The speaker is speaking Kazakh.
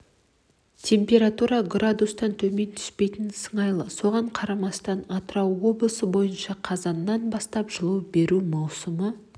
температура градустан төмен түспейтін сыңайлы соған қарамастан атырау облысы бойынша қазаннан бастап жылу беру маусымы